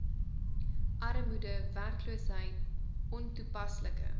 armoede werkloosheid ontoepaslike